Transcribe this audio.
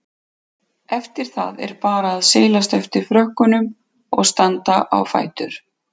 Eftir það er bara að seilast eftir frökkunum og standa á fætur.